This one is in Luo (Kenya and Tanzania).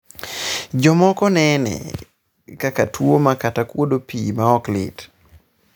jomoko nene kaka tiuma kata kuodo pii ma ok lit